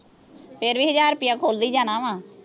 ਫੇਰ ਵੀ ਹਜ਼ਾਰ ਰੁਪਈਆ ਖੁੱਲ ਹੀ ਜਾਣਾ ਵਾ